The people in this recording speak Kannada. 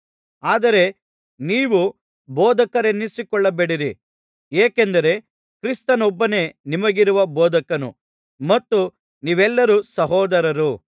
ಆದರೆ ನೀವು ಬೋಧಕರೆನ್ನಿಸಿಕೊಳ್ಳಬೇಡಿರಿ ಏಕೆಂದರೆ ಕ್ರಿಸ್ತನೊಬ್ಬನೇ ನಿಮಗಿರುವ ಬೋಧಕನು ಮತ್ತು ನೀವೆಲ್ಲರೂ ಸಹೋದರರು